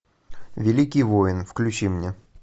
великий воин включи мне